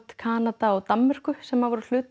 Kanada og Danmörku sem voru hluti af